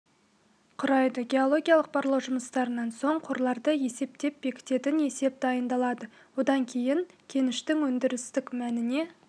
құрайды геологиялық барлау жұмыстарынан соң қорларды есептеп бекітетін есеп дайындалады одан кейін кеніштің өндірістік мәніне